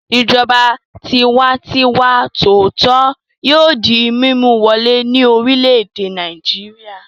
Ìjọba tiwantiwa tòótọ́ yóò di mímú wọlé ní orílẹ̀-èdè Nàìjíríà.